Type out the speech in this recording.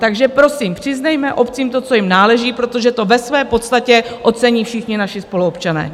Takže prosím, přiznejme obcím to, co jim náleží, protože to ve své podstatě ocení všichni naši spoluobčané!